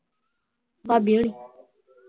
ਭਾਬੀ ਹੋਣੀ